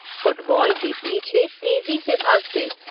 Football के पीछे तेजी से भागते।